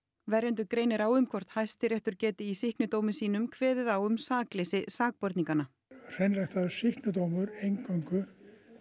verjendur greinir á um hvort Hæstiréttur geti í sýknudómi sínum kveðið á um sakleysi sakborninganna hreinræktaður sýknudómur eingöngu